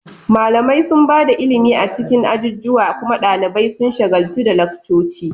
Malamai sun ba da ilimi a cikin ajujuwa, kuma ɗalibai sun shagaltu da laccoci.